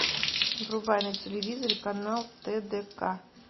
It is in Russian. врубай на телевизоре канал тдк